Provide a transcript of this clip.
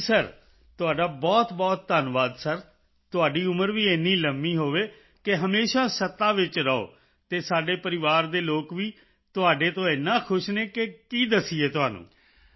ਜੀ ਸਿਰ ਤੁਹਾਡਾ ਬਹੁਤਬਹੁਤ ਧੰਨਵਾਦ ਸਿਰ ਤੁਹਾਡੀ ਉਮਰ ਵੀ ਇੰਨੀ ਲੰਬੀ ਹੋਵੇ ਕਿ ਹਮੇਸ਼ਾ ਸੱਤਾ ਵਿੱਚ ਰਹੋ ਅਤੇ ਸਾਡੇ ਪਰਿਵਾਰ ਦੇ ਲੋਕ ਵੀ ਤੁਹਾਡੇ ਤੋਂ ਏਨਾ ਖੁਸ਼ ਹਨ ਕਿ ਕੀ ਦੱਸੀਏ ਤੁਹਾਨੂੰ